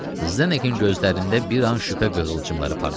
Zdenekin gözlərində bir an şübhə qığılcımları parladı.